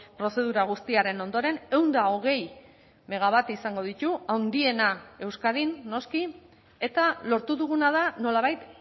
prozedura guztiaren ondoren ehun eta hogei megawatt izango ditu handiena euskadin noski eta lortu duguna da nolabait